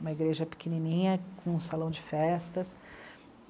Uma igreja pequenininha, com um salão de festas.